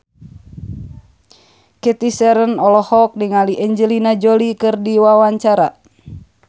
Cathy Sharon olohok ningali Angelina Jolie keur diwawancara